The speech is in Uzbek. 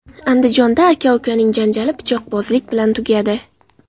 Andijonda aka-ukaning janjali pichoqbozlik bilan tugadi.